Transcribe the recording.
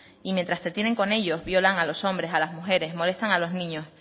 y mientras te tienen con ellos violan a los hombres a las mujeres molestan a los niños